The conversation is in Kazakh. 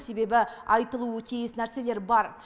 себебі айтылуы тиіс нәрселер бар